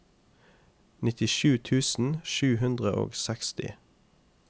nittisju tusen sju hundre og seksti